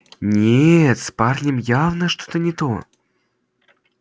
нет с парнем явно что-то не то